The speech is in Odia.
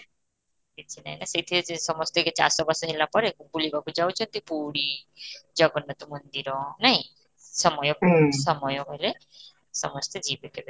କିଛି ନାହିଁ ନା ସେଠି ସମସ୍ତେ କିଛି ଚାଷ ବାସ ହେଲା ପରେ ବୁଲିବାକୁ ଯାଉଛନ୍ତି ପୁରୀ, ଜଗନ୍ନାଥ ମନ୍ଦିର, ନାଇଁ ସମୟ କୁ ସମୟ ହେଲେ ସମସ୍ତେ ଯିବେ କେବେ